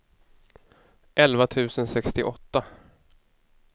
elva tusen sextioåtta